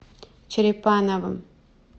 черепановым